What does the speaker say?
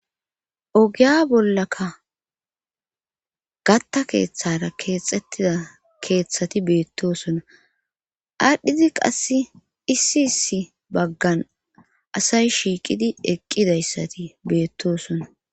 ogiya bollaka gatta keeththara keexxettida keeththati beettosona adhidi qasse issi issi baggan asay shiiqidi eqqidayssati beettosona